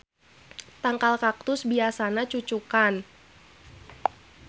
Tangkal kaktus biasana cucukan